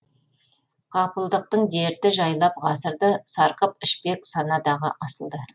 ғапылдықтың дерті жайлап ғасырды сарқып ішпек санадағы асылды